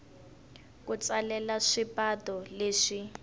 ku tsalela swipato leswi